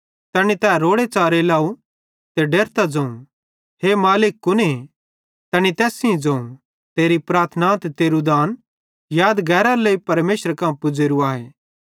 तैनी तै रोड़ेच़ारे लाव ते डेरतां ज़ोवं हे मालिक कुने तैनी तैस सेइं ज़ोवं तेरी प्रार्थना ते तेरू दान यादगैरेयर लेइ परमेशरे कां पुज़ेरू आए